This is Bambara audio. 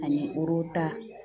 Ani